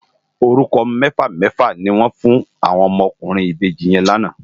Órúkò mèfá mèfá ni wòn fún áwòn òmò òkúrin ibéji yèn làná